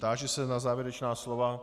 Táži se na závěrečná slova?